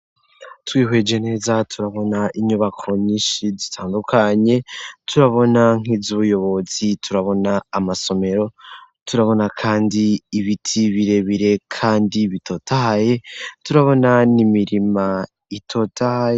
Twihweje neza turabona inyubako nyinshi zitangukanye, turabona nk'inzu y'umuyobozi, turabona amasomero, turabona kandi ibiti birebire kandi bitotahaye, turabona n'imirima itotahaye.